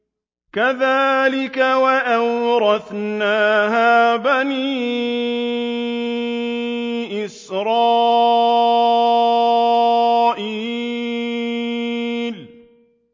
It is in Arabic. كَذَٰلِكَ وَأَوْرَثْنَاهَا بَنِي إِسْرَائِيلَ